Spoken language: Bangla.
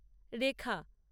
রেখা